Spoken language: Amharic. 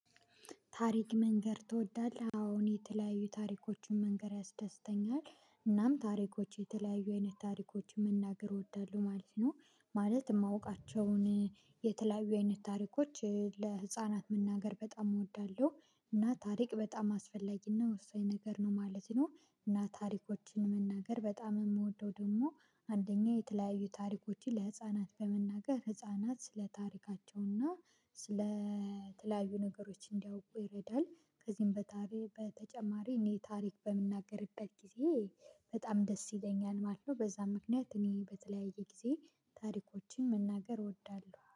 ታሪክ መንገር ትወዳለህ? አሁን የተለያዩ ታሪኮችን መንገር ያስደስተኛል፤ እናም ታሪኮች የተለያዩ አይነት ታሪኮችን መናገር እወዳለሁ ማለት ነው—ማለት የማውቃቸውን የተለያዩ አይነት ታሪኮችን ለህፃናት መናገር በጣም እወዳለሁ። እና ታሪክ በጣም አስፈላጊ እና ወሳኝ ነገር ነው ማለት ነው። እና ታሪኮችን መናገር በጣም የምወደው ደግሞ፣ አንደኛ የተለያዩ ታሪኮችን ለህፃናት በመናገር፣ ህፃናት ስለ ታሪካቸውና ስለ የተለያዩ ነገሮችን እንዲያውቁ ይረዳል ከዚህም በተጨማሪ እኔ ታሪክ በምናገርበት ጊዜ በጣም ደስ ይለኛል ማለት ነው። በዚያም ምክንያት እኔ በተለያየ ጊዜ ታሪኮችን መናገር እወዳለሁ።